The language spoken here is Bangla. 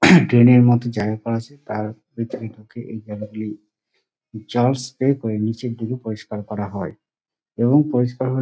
ট্রেন -এর মধ্যে জায়গা করা আছে তার ভিতরে ঢুকে এই জায়গা গুলি জল স্প্রে করে নিচের দিকে পরিষ্কার করা হয় এবং পরিষ্কার হয়ে --